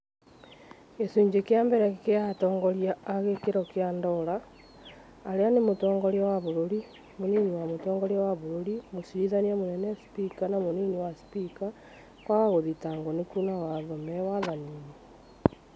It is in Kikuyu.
Gĩcunjĩ kĩa mbere nĩ gĩa atongoria a gĩkĩro kĩa dora , arĩa nĩ mũtongoria wa bũrũri, mũnini wa mũtongoria wa bũrũri, mũcirithania mũnene, spika na mũnini wa spika kwaga gũthitangwo nĩ kuna watho me wathani-inĩ